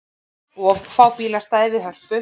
Of fá bílastæði við Hörpu